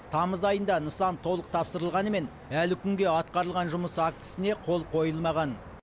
тамыз айында нысан толық тапсырылғанымен әлі күнге атқарылған жұмыс актісіне қол қойылмаған